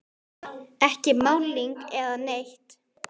Ekki málning eða neitt.